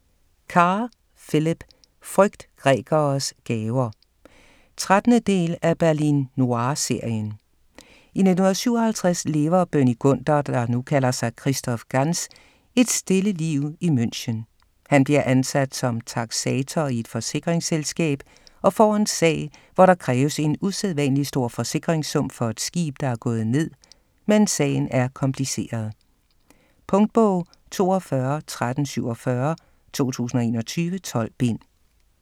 Kerr, Philip: Frygt grækeres gaver 13. del af Berlin noir serien. I 1957 lever Bernie Gunther, der nu kalder sig Christoph Ganz et stille liv i München. Han bliver ansat som taksator i et forsikringsselskab og får en sag, hvor der kræves en usædvanlig stor forsikringssum for et skib, der er gået ned, men sagen er kompliceret. Punktbog 421347 2021. 12 bind.